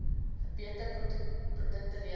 beter produkte lewer